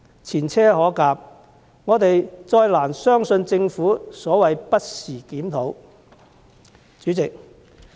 前車可鑒，我們再難以相信政府所謂的"不時檢討"。